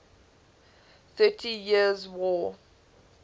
thirty years war